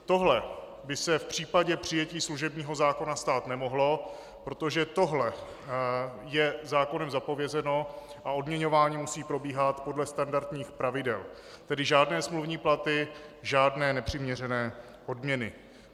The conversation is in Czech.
Tohle by se v případě přijetí služebního zákona stát nemohlo, protože tohle je zákonem zapovězeno a odměňování musí probíhat podle standardních pravidel, tedy žádné smluvní platy, žádné nepřiměřené odměny.